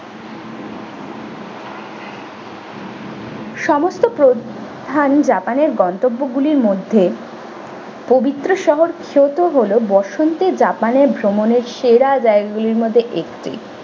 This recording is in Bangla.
সমস্ত প্রধান জাপানের গন্তব্যগুলির মধ্যে পবিত্র শহর kyoto হলো বসন্তে japan এর ভ্রমণের সেরা জায়গা গুলির মধ্যে একটি।